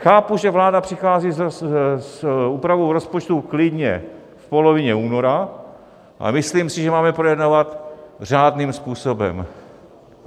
Chápu, že vláda přichází s úpravou rozpočtu klidně v polovině února, ale myslím si, že máme projednávat řádným způsobem.